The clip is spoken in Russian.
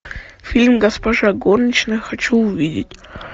фильм госпожа горничная хочу увидеть